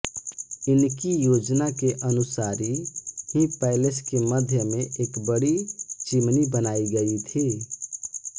इनकी योजना के अनुसारी ही पैलेस के मध्य में एक बड़ी चिमनी बनाई गई थी